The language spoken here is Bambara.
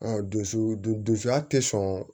dusu dusuya tɛ sɔn